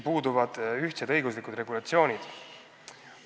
Aga ühtsed õiguslikud regulatsioonid puuduvad.